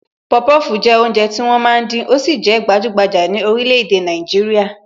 Popofu jẹ́ oúnjẹ tí wọ́n máa ń dín, ó sì jẹ gbajugbaja ni orílè-èdè Nàìjíríà